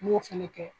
N b'o fɛnɛ kɛ